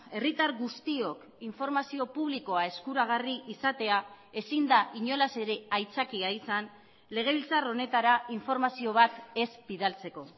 herritar guztiok informazio publikoa eskuragarri izatea ezin da inolaz ere aitzakia izan legebiltzar honetara informazio bat ez bidaltzeko